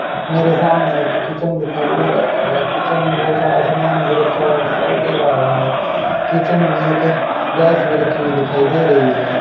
मेरे सामने एक किचन दिखाई दे रहा है किचन में बहुत सारा सामान भी रखा हुआ दिखाई दे रहा है किचन में एक गैस भी रखी हुई दिखाई दे रही है।